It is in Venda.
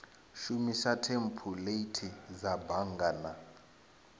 shumisa thempuleithi dza bannga na